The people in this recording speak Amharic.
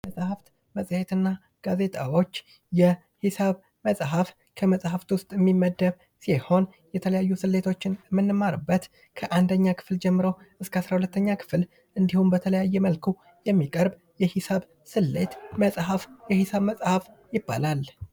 የማራስ ቅባቶች ቆዳን እርጥበት በመስጠት ለስላሳና የመለጠጥ ባሕርይ እንዲኖረው ይረዳሉ